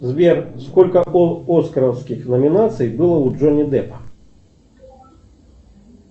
сбер сколько оскаровских номинаций было у джонни деппа